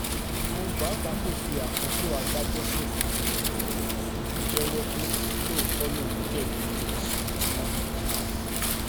òun pàápàá kò fi àkókò adájọ́ ṣòfò tó fi jẹ́wọ́ pé lóòótọ́ lòun jẹ̀bi ẹ̀sùn tí wọ́n fi kan òun